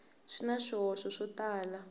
swi na swihoxo swo tala